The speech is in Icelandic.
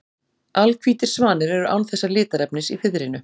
Alhvítir svanir eru án þessa litarefnis í fiðrinu.